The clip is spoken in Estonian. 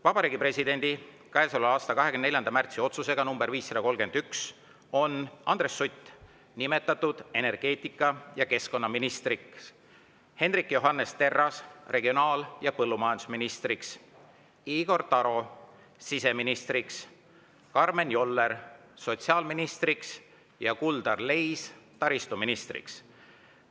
Vabariigi Presidendi käesoleva aasta 24. märtsi otsusega nr 531 on Andres Sutt nimetatud energeetika- ja keskkonnaministriks, Hendrik Johannes Terras regionaal- ja põllumajandusministriks, Igor Taro siseministriks, Karmen Joller sotsiaalministriks ning Kuldar Leis taristuministriks.